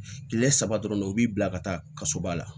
Kile saba dɔrɔn u b'i bila ka taa kaso ba la